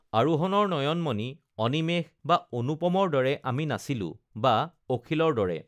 আৰোহণৰ নয়নমণি অনিমেশ বা অনুপমৰ দৰে আমি নাছিলো বা অখিলৰ দৰে